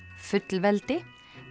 fullveldi